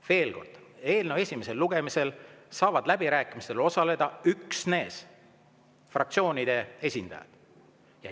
Veel kord: eelnõu esimesel lugemisel saavad läbirääkimistel osaleda üksnes fraktsioonide esindajad.